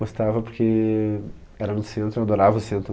Gostava porque era no centro, eu adorava o centro.